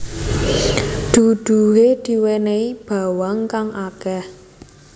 Duduhe diwenehi bawang kang akeh